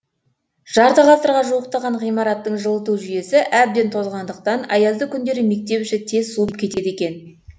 жарты ғасырға жуықтаған ғимараттың жылыту жүйесі әбден тозғандықтан аязды күндері мектеп іші тез суып кетеді екен